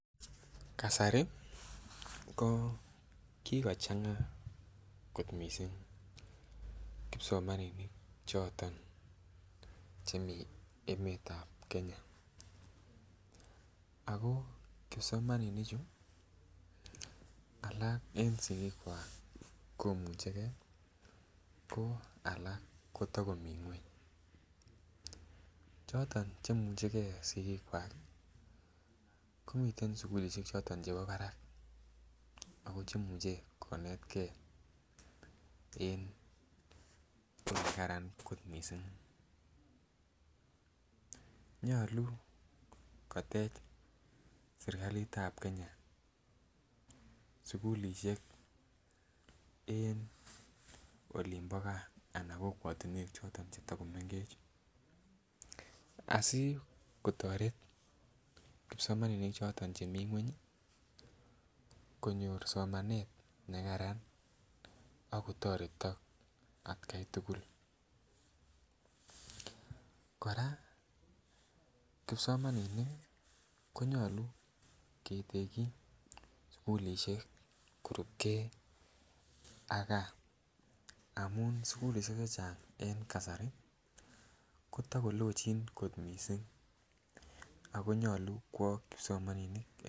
Kasari ko kokochanga kot missing' kipsomaninik choton chemii emetab Kenya ako kipsomaninik chuu alak en sikik kwakomuch gee ko alak kotokomii ngweny. Choton cheimuche gee sikik kwak komiten sukulishek choton chebo barak ako cheimuche konetgee en sukul nekaran missing'. Nyolu kotech sirkali tab Kenya sukulishek en olimbo gaa ana kokwotunwek choton chetokomengech asikotoret kipsomaninik choton chemii ngweny konyor somanet nekaran akotoretik atgai tukul. Koraa kipsomaninik konyolu keteki sukulishek korubgee ak gaa amun sukulishek chechang en kasari kotokolochin kot missing ako nyolu kwo kipsomaninik .